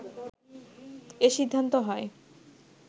এ সিদ্ধান্ত হয়